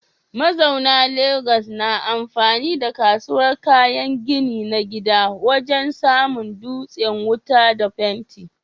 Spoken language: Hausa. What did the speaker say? Mazauna Legas na amfani da kasuwar kayan gini na gida wajen samo dutsen wuta da fenti.